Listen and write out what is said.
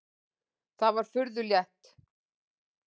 Það var furðu létt.